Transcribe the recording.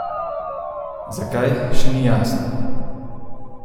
Zakaj, še ni jasno.